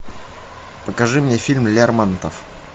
покажи мне фильм лермонтов